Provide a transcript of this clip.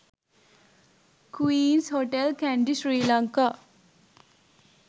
queens hotel kandy sri lanka